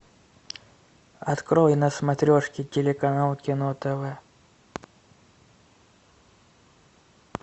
открой на смотрешке телеканал кино тв